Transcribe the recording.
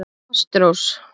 Ástrós